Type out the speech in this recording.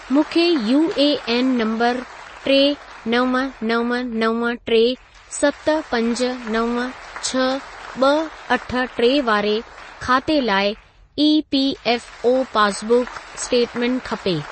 मूंखे UAN number टे नव नव नव टे सत पंज नव छह ॿ अठ टे वारे खाते लाइ ईपीऐफओ पासबुक स्टेटमेंट खपे।